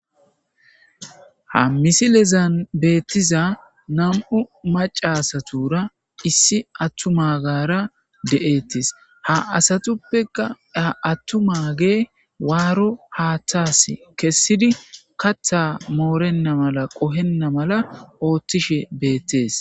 Ha missilezan bettiza naamu macca aassatura issi attummagara deettess ha aassattuppeka attumage waro haaththas kessidi kaaththa moorenna maala qohena maala otishshe beettess.